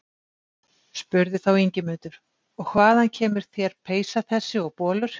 Spurði þá Ingimundur: Og hvaðan kemur þér peysa þessi og bolur?